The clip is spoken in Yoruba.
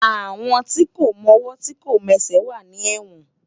Awón ti kó mòwò ti kó mèsè wà ni èwòn